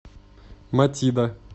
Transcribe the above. матида